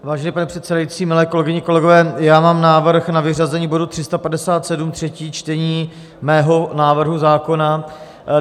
Vážený pane předsedající, milé kolegyně, kolegové, já mám návrh na vyřazení bodu 357, třetí čtení, mého návrhu zákona.